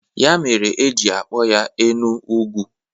Ya mere e ji akpọ ya Enu-Ugwu.